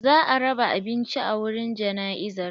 Za a raba abinci a wurin jana'izar.